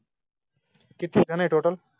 किती आहे टोटल